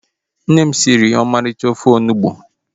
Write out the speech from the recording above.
Nne m siri m ọmarịcha ofe onugbu